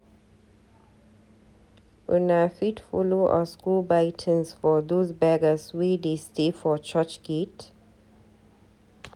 Una fit follow us go buy tins for dose beggers wey de stay for church gate?